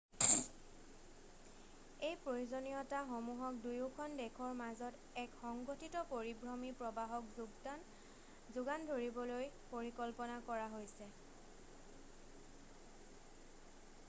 এই প্ৰয়োজনীয়তাসমূহক দুয়োখন দেশৰ মাজত এক সংগঠিত পৰিভ্ৰমী প্ৰৱাহক যোগান ধৰিবলৈ পৰিকল্পনা কৰা হৈছে